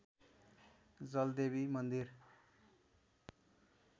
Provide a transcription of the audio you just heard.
जलदेवी मन्दिर